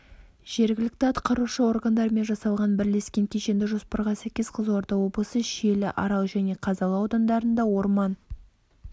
жергілікті атқарушы органдармен жасалған бірлескен кешенді жоспарға сәйкес қызылорда облысы шиелі арал және қазалы аудандарында орман